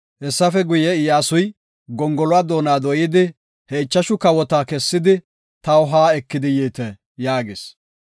Hessafe guye, Iyyasuy, “Gongoluwa doona dooyidi, he ichashu kawota kessidi, taw ha ekidi yiite” yaagis.